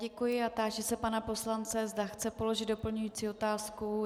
Děkuji a táži se pana poslance, zda chce položit doplňující otázku.